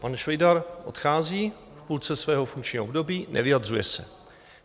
Pan Švejdar odchází v půlce svého funkčního období, nevyjadřuje se.